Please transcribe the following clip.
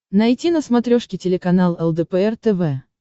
найти на смотрешке телеканал лдпр тв